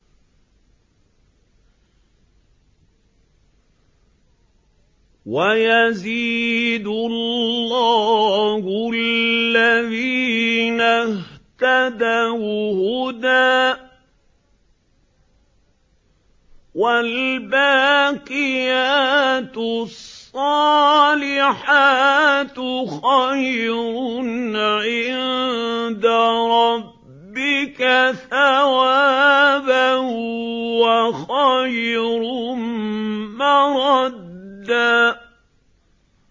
وَيَزِيدُ اللَّهُ الَّذِينَ اهْتَدَوْا هُدًى ۗ وَالْبَاقِيَاتُ الصَّالِحَاتُ خَيْرٌ عِندَ رَبِّكَ ثَوَابًا وَخَيْرٌ مَّرَدًّا